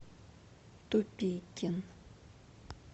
тупикин